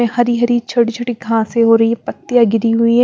हरी हरी छोटी-छोटी घाँसे हो रही है पत्तियाँ गिरी हुई है।